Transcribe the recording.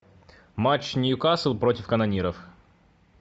матч ньюкасл против канониров